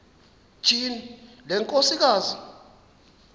tyhini le nkosikazi